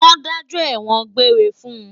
Wọ́n dájọ́ ẹ̀wọ̀n-òn gbére fún un